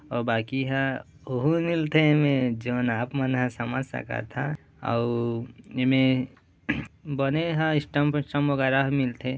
आउ बाकी ह ओहु मिलथे एमे जोन आप मन ह समझ सकत हा आउ एमे बने ह स्टंप स्टंप वगेरह मिलथे--